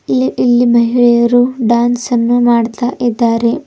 ಇಲ್ಲಿ ಇಲ್ಲಿ ಮಹಿಳೆಯರು ಡ್ಯಾನ್ಸ್ ಅನ್ನ ಮಾಡ್ತಾ ಇದ್ದಾರೆ.